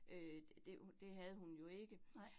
Øh det det havde hun jo ikke